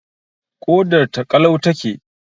Ƙodar ta ƙalau ta ke